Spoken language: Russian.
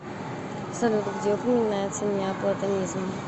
салют где упоминается неоплатонизм